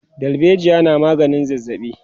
dalbejiya na maganin zazzabi